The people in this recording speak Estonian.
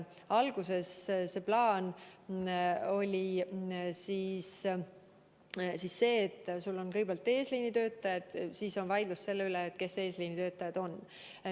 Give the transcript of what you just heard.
Alguses oli plaan, et kõigepealt on eesliinitöötajad, siis tellis vaidlus selle üle, kes eesliinitöötajad on.